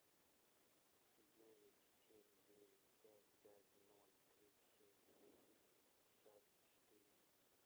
девять семь девять пять пять ноль три семь двести шестьдесят четыре